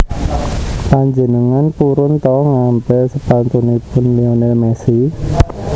Panjenengan purun to ngampil sepatunipun Lionel Messi